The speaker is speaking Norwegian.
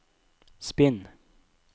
spinn